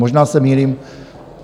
Možná se mýlím?